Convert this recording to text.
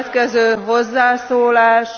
A következő hozzászólás...